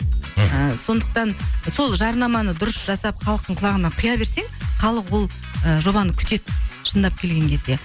мхм сондықтан сол жарнаманы дұрыс жасап халықтың құлағына құя берсең халық ол ыыы жобаны күтеді шындап келген кезде